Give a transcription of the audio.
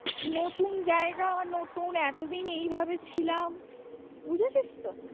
নতুন জায়গা নতুন এতদিন এই ভাবে ছিলাম বুঝেছিস তো?